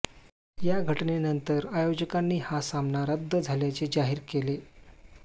या घटनेनंतर आयोजकांनी हा सामना रद्द झाल्याचे जाहीर केले